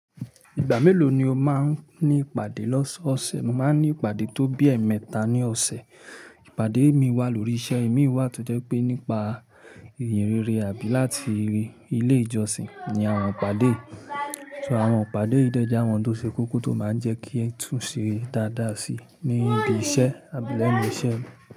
Ìgbà mélòó ni o máa ń ní ìpàdé lọ́sọ̀ọ̀sẹ̀? Mo máa ń ní ìpàdé tó bí ẹ̀ẹ̀mẹta ní ọ̀sẹ̀. Ìpàdé mí wà lórí iṣẹ́, emí wà tó jẹ́ pé nípa ìyìnrere àbí láti rí ilé ìjọsìn ni àwọn ìpàdé. So àwọn ìpàdé dẹ́ jẹ awọn tó ṣe kókó tó máa ń jẹ́ kí ẹ tùn sẹ́ dáadáa si ni ibi iṣẹ́ àbí lẹ́nu iṣẹ́.